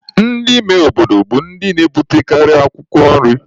Ndị ime obodo bụ ndị na-ebutekarị̀ akwụkwọ nri.